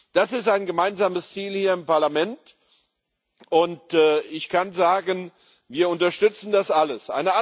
Das ist ein gemeinsames Ziel hier im Parlament, und ich kann sagen, wir unterstützen das alles.